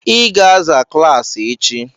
I ga-aza klaasị echi!